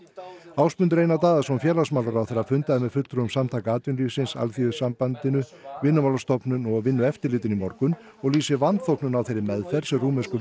Ásmundur Einar Daðason félagsmálaráðherra fundaði með fulltrúum Samtaka atvinnulífsins Alþýðusambandinu Vinnumálastofnun og Vinnueftirlitinu í morgun og lýsir vanþóknun á þeirri meðferð sem rúmensku